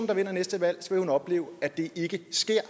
der vinder næste valg vil hun opleve at det ikke sker